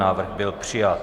Návrh byl přijat.